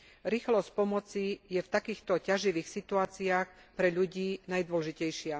Rýchlosť pomoci je v takýchto ťaživých situáciách pre ľudí najdôležitejšia.